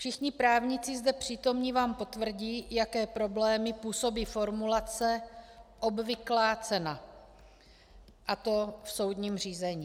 Všichni právníci zde přítomní vám potvrdí, jaké problémy působí formulace obvyklá cena, a to v soudním řízení.